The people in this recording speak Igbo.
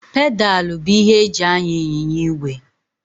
Pedalụ bụ ihe eji anya ịnyịnya igwe.